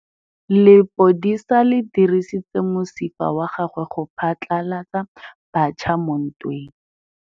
Lepodisa le dirisitse mosifa wa gagwe go phatlalatsa batšha mo ntweng.